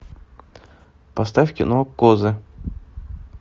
поставь кино козы